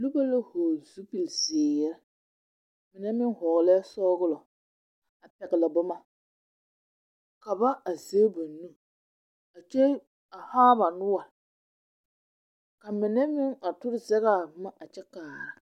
Noba la vͻgele zupili zeere, mine meŋ vͻgelԑԑ sͻgelͻ kyԑ pԑgele boma. Ka ba are a zԑge ba nuuri kyԑ haa ba noͻre. ka mine meŋ a tore zԑge a boma a kyԑ kyԑnԑ.